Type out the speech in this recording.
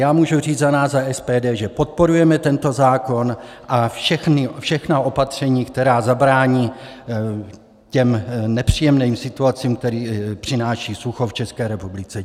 Já můžu říct za nás, za SPD, že podporujeme tento zákon a všechna opatření, která zabrání těm nepříjemným situacím, které přináší sucho v České republice.